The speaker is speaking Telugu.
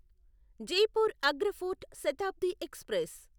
Jaipur Agra fort Shatabdi express